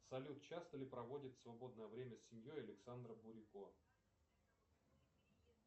салют часто ли проводит свободное время с семьей александра бурико